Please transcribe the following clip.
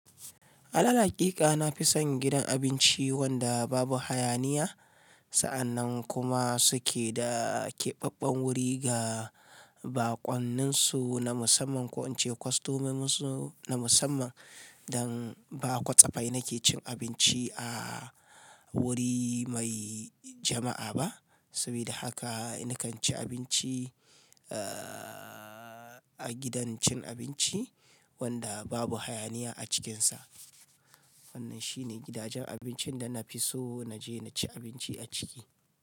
Alal haƙiƙa nafi son gidan abinci wanda babu hayaniya sa'an nan kuma suke da keɓaɓɓan wuri ga baƙonnin su na musamman ko ince kostamomin su na musamman dan ba kwatsafai nake cin abinci a wuri mai jama'a ba. Sabida haka na kan ci abinci, a gidan cin abinci wanda babu hayaniya a cikinsa. Wannan shine gidajen abincin da na fi so na je na ci abinci a ciki.